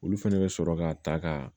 Olu fɛnɛ bɛ sɔrɔ ka ta ka